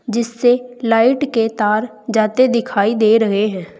जिससे लाइट के तार जाते दिखाई दे रहे हैं।